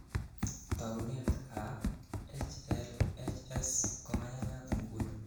Tounetab HLHs komanayat nguni.